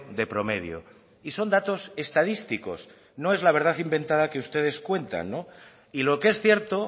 de promedio y son datos estadísticos no es la verdad inventada que ustedes cuentan y lo que es cierto